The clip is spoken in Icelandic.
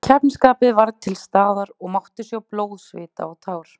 Keppnisskapið var til staðar og mátti sjá blóð, svita og tár.